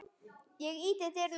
Ég ýtti dyrunum hægt upp.